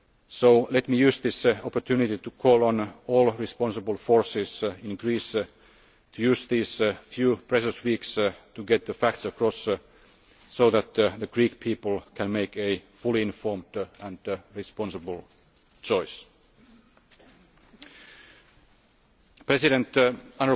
far worse. So let me take this opportunity to call on all responsible forces in Greece to use these few precious weeks to get the facts across, so that the Greek people can make a fully informed and responsible choice.